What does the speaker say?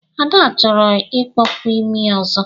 Ada chọrọ ikpọpu imi ọzọ.